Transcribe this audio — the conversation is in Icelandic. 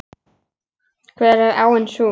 Hver er áin sú?